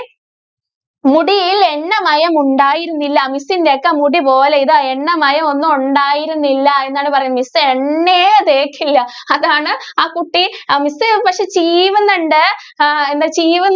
മുടിയില്‍ എണ്ണമയമുണ്ടായിരുന്നില്ല. miss ന്റെ ഒക്കെ മുടിപോലെ ഇതാ എണ്ണമയം ഒന്നും ഉണ്ടായിരുന്നില്ല എന്നാണ് പറയുന്നത്. miss എണ്ണയേ തേക്കില്ല അതാണ്‌ ആ കുട്ടി അഹ് miss പക്ഷേ ചീവുന്നൊണ്ട്. ഹ എന്നാല്‍ ചീവു~